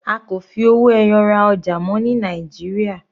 A kò fi owó ẹyọ ra ọjà mọ́ ní Nàìjíríà.